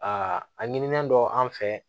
Aa a ɲinilen don an fɛ